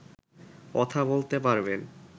কথা বলতে পারবেন